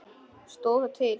Stóð það til?